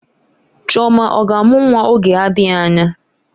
Chioma ọ ga-amụ nwa oge adịghị anya?